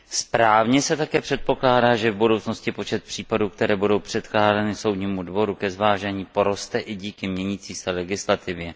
Správně se také předpokládá, že v budoucnosti počet případů, které budou předkládány Soudnímu dvoru ke zvážení, poroste i díky měnící se legislativě.